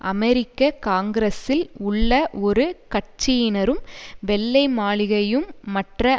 அமெரிக்க காங்கிரஸில் உள்ள ஒரு கட்சியினரும் வெள்ளை மாளிகையும் மற்ற